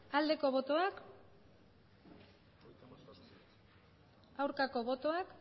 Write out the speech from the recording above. aldeko botoak aurkako botoak